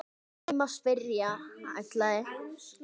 Því má spyrja: ætlaði